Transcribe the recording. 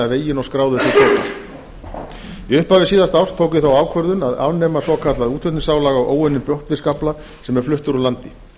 veginn og skráður til kaupa í upphafi síðasta árs tók ég þá ákvörðun að afnema svokallað útflutningsálag á óunnum botnfiskafla sem er fluttur úr landi